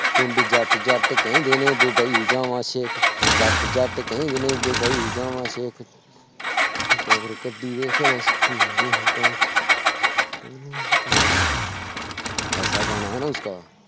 ਪਿੰਡ ਜੱਟ ਜੱਟ ਕਹਿੰਦੇ ਨੇ ਡੁਬਈ ਜਾਵਾਂ ਸੇਖ, ਜੱਟ ਜੱਟ ਕਹਿੰਦੇ ਨੇ ਡੁਬਈ ਜਾਵਾਂ ਸੇਖ ਟੋਰ ਕੱਢੀ ਵੇਖ ਐਸਾ ਗਾਣਾ ਹੈ ਨਾ ਉਸਕਾ।